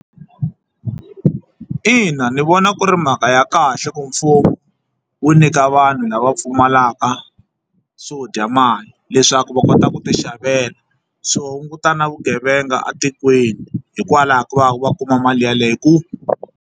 Ina ni vona ku ri mhaka ya kahle ku mfumo wu nyika vanhu lava pfumalaka swo dya leswaku va kota ku ti xavela swi hunguta na vugevenga etikweni hikwalaho ko va va kuma mali yeleyo .